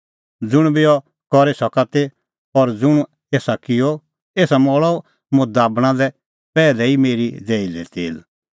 ज़ुंण बी अह करी सका ती और ज़ुंण एसा किअ एसा मल़अ मुंह दाबणा लै पैहलै ई मेरी देही लै तेल